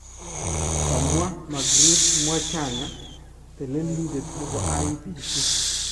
kamwaa Margret Mwachanya teleliindet nebo IEBC .